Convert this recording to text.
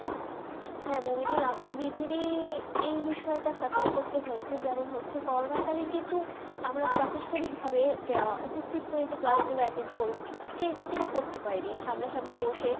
হ্যাঁ মোবাইদুল আমার যেই বিষয় সুফির করতে হয়েছে যেমন হচ্ছে করোনা কালে কিন্তু আমরা প্রস্তনিক ভাবে উপস্হিত হয়ে যে ক্লাস গুলু অত্যন্ত করবো সেই তা কিন্তু করতে পারি সামনে সামনি বসে